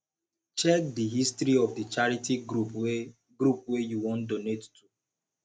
check di history of di charity group wey group wey you wan donate to